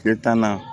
Kɛ taa na